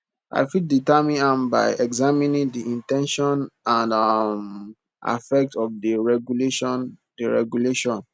i fit determine am by examining di in ten tion and um affect of di regulation di regulation